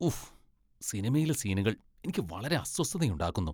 ഊഹ്! സിനിമയിലെ സീനുകൾ എനിക്ക് വളരെ അസ്വസ്ഥതയുണ്ടാക്കുന്നു.